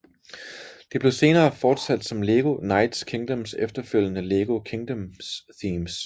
Det blev senere fortsat som LEGO Knights Kingdoms efterfølgende LEGO Kingdoms themes